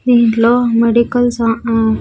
ఇంట్లో మెడికల్ సా హా--